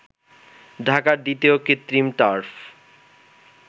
ঢাকার দ্বিতীয় কৃত্রিম টার্ফ